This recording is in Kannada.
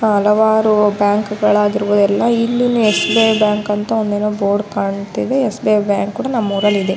ಹಲವಾರು ಬ್ಯಾಂಕ್ ಗಳಗಿರುವುದೆಲ್ಲ ಇಲ್ಲಿಲ್ಲೇ ಎಸ್.ಬಿ.ಐ. ಬ್ಯಾಂಕ್ ಅಂತ ಬೋರ್ಡ್ ಕಾಣ್ತಿದೆ ಎಸ್.ಬಿ.ಐ. ಬ್ಯಾಂಕ್ ಕೂಡ ನಮ್ಮೂರಲ್ಲಿದೆ .